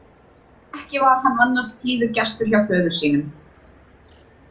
Ekki var hann annars tíður gestur hjá föður sínum.